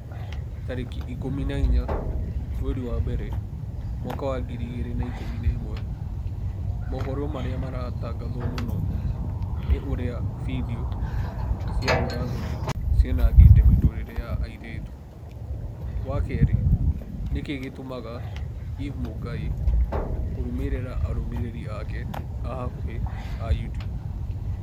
tarĩki ikũmi na inya mweri wa mbere mwaka wa ngiri igĩrĩ na ikũmi na ĩmwe mohoro marĩa maratangatwo mũno ni ũrĩa findio cia ũũra-thoni cianangĩte mĩtũrĩre ya airĩtu wa kerĩ nĩkĩĩ gĩtũmaga eve mũngai kũrũmĩrĩra arũmĩrĩri ake a hakuhi a YouTUBE